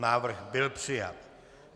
Návrh byl přijat.